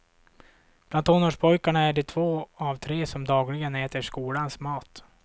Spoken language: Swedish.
Bland tonårspojkarna är det två av tre som dagligen äter skolans mat.